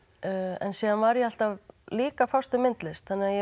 en síðan var ég alltaf líka að fást við myndlist þannig að